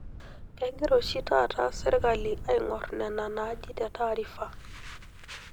Kegira oshi taata serkali aingorr nena naaji te taarifa.